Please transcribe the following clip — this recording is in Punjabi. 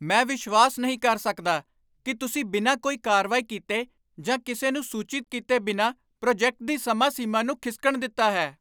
ਮੈਂ ਵਿਸ਼ਵਾਸ ਨਹੀਂ ਕਰ ਸਕਦਾ ਕਿ ਤੁਸੀਂ ਬਿਨਾਂ ਕੋਈ ਕਾਰਵਾਈ ਕੀਤੇ ਜਾਂ ਕਿਸੇ ਨੂੰ ਸੂਚਿਤ ਕੀਤੇ ਬਿਨਾਂ ਪ੍ਰੋਜੈਕਟ ਦੀ ਸਮਾਂ ਸੀਮਾ ਨੂੰ ਖਿਸਕਣ ਦਿੱਤਾ ਹੈ।